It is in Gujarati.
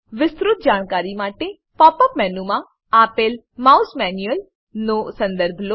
વિસ્તૃત જાણકારી માટે પોપ અપ મેનુમાં આપેલ માઉસ મેન્યુઅલ નો સંદર્ભ લો